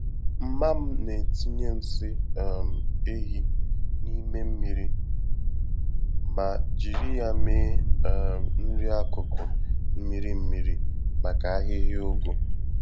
Mma m na-etinye nsị um ehi n'ime mmiri ma jírí ya mee um nri-akụkụ mmiri-mmiri, maka ahịhịa ụgụ.